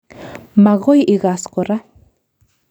Magoi igaas kora